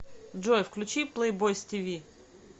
джой включи плэйбойс ти ви